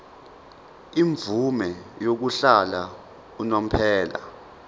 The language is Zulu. imvume yokuhlala unomphela